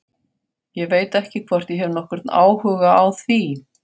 Ég veit ekki hvort ég hef nokkurn áhuga á því.